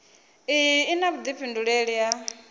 iyi i na vhuifhinduleli ha